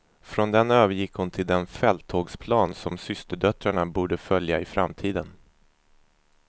Från den övergick hon till den fälttågsplan som systerdöttrarna borde följa i framtiden.